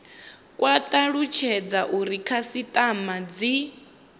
kwa talutshedza uri khasitama dzi